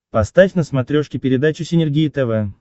поставь на смотрешке передачу синергия тв